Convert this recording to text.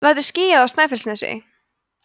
verður skýjað á snæfellsnesi